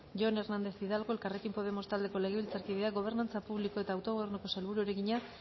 jon hernández hidalgo elkarrekin podemos taldeko legebiltzarkideak gobernantza publiko eta autogobernuko sailburuari egina